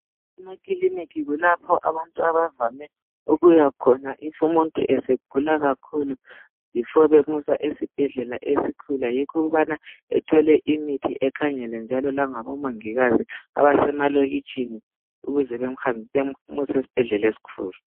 Emakilinika kulapho abantu abavame ukuyakhona "if" umuntu esegula kakhulu "before" bemusa esibhedlela esikhulu. Yikho ukubana ethole imithi ekhangelwe njalo ngabomongikazi abasemalokitshini ukuze bemuse esibhedlela esikhulu.